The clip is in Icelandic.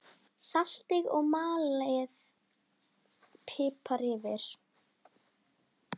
Saltið og malið pipar yfir.